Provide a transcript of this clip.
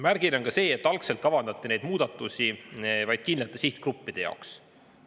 Märgiline on ka see, et algselt kavandati neid muudatusi vaid kindlate sihtgruppide jaoks.